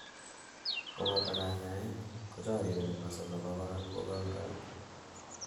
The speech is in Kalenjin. koboto kanyaet, kochorireni muscle abakora kogoikoitu